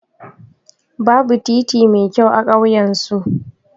Babu titi mai kyau a ƙauyan su.